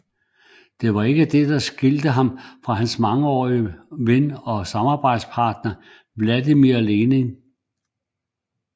Det var ikke det der skilte ham fra hans mangeårige ven og samarbejdspartner Vladimir Lenin